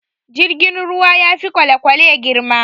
Jirgin ruwa ya fi kwalekwale girma